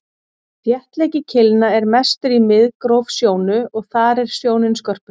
þéttleiki keilna er mestur í miðgróf sjónu og þar er sjónin skörpust